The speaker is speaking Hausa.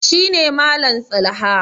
shi ne Malam tsalha